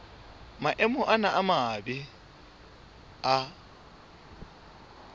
maemo ana a mabe a